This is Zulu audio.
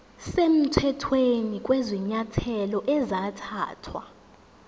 semthethweni kwezinyathelo ezathathwa